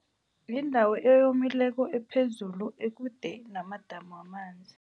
Yindawo eyomileko, ephezulu, ekude namadamu wamanzi.